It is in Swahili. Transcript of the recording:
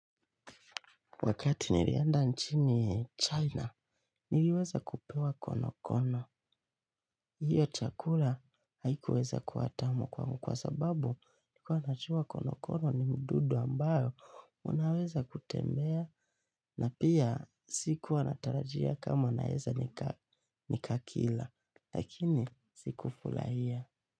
Wakati nilienda nchini China, niliweza kupewa konokono. Hio chakula haikuweza kuwa tamu kwangu kwa sababu nikuwa najua kono-kono ni mdudu ambao unaweza kutembea na pia si kuwa natarajia kama naweza nika kila. Lakini sikufurahia.